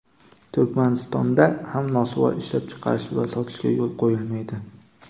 Turkmaniston)da ham nosvoy ishlab chiqarish va sotishga yo‘l qo‘yilmaydi.